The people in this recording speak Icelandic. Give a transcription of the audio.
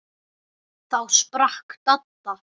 Þá sprakk Dadda.